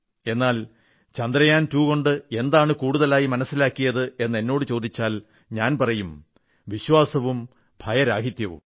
എന്നാൽ ചന്ദ്രയാൻ 2 കൊണ്ട് എന്താണ് കൂടുതലായി മനസ്സിലാക്കിയത് എന്ന് എന്നോടു ചോദിച്ചാൽ ഞാൻ പറയും വിശ്വാസവും ഭയരാഹിത്യവും